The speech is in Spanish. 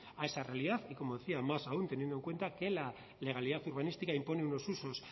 a esa realidad y como decía más aún teniendo en cuenta que la legalidad urbanística impone unos usos